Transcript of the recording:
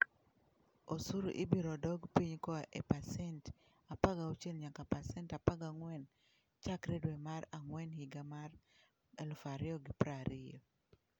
Osuru ibiro dok piny koa e pasent 16 nyaka pasent 14 chakre dwe mar ang'wen higa mar 2020.